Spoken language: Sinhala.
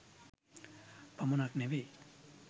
පමණක් නෙවෙයි.